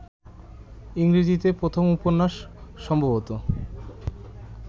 ইংরেজীতে প্রথম উপন্যাস সম্ভবত